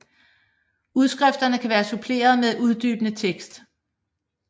Udskrifterne kan være suppleret med uddybende tekst